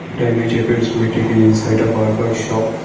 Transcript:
the image appears we taken inside a barber shop.